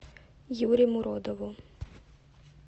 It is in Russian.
юре муродову